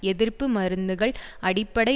எதிர்ப்பு மருந்துகள் அடிப்படை